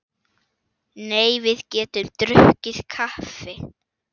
Nei, við getum drukkið kaffi.